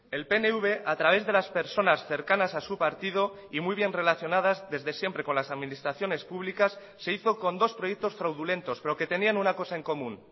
el pnv a través de las personas cercanas a su partido y muy bien relacionadas desde siempre con las administraciones públicas se hizo con dos proyectos fraudulentos pero que tenían una cosa en común